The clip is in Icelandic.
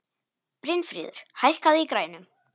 Brynfríður, hækkaðu í græjunum.